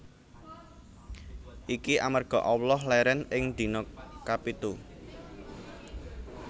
Iki amarga Allah lèrèn ing dina kapitu